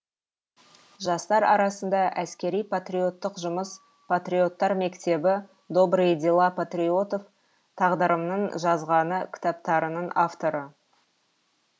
жастар арасында әскери патриоттық жұмыс патриоттар мектебі добрые дела патриотов тағдырымның жазғаны кітаптарының авторы